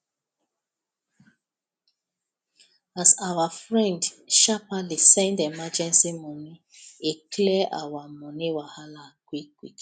as our friend sharperly send emergency money e clear our money wahala quickquick